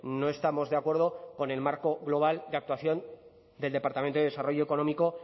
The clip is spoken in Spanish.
no estamos de acuerdo con el margo global de actuación del departamento de desarrollo económico